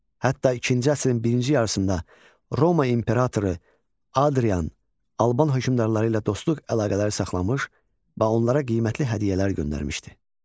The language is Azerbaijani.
Hətta ikinci əsrin birinci yarısında Roma İmperatoru Hadrian Alban hökmdarları ilə dostluq əlaqələri saxlamış, paonlara qiymətli hədiyyələr göndərmişdi.